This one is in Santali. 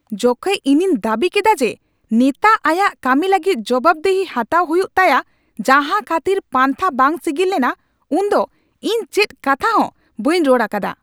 ᱡᱚᱠᱷᱮᱡ ᱤᱧᱤᱧ ᱫᱟᱹᱵᱤ ᱠᱮᱫᱟ ᱡᱮ ᱱᱮᱛᱟ ᱟᱭᱟᱜ ᱠᱟᱹᱢᱤ ᱞᱟᱹᱜᱤᱫ ᱡᱚᱵᱟᱵᱽᱫᱤᱦᱤ ᱦᱟᱴᱟᱣ ᱦᱩᱭᱩᱜ ᱛᱟᱭᱟ ᱡᱟᱸᱦᱟ ᱠᱷᱟᱹᱛᱤᱨ ᱯᱟᱱᱛᱷᱟ ᱵᱟᱝ ᱥᱤᱜᱤᱞ ᱞᱮᱱᱟ, ᱩᱱᱫᱚ ᱤᱧ ᱪᱮᱫ ᱠᱟᱛᱷᱟ ᱦᱚᱸ ᱵᱟᱹᱧ ᱨᱚᱲ ᱟᱠᱟᱫᱟ ᱾